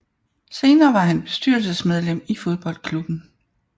Senere var han bestyrelsesmedlem i fodboldklubben